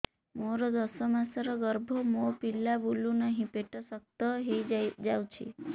ମୋର ଦଶ ମାସର ଗର୍ଭ ମୋ ପିଲା ବୁଲୁ ନାହିଁ ପେଟ ଶକ୍ତ ହେଇଯାଉଛି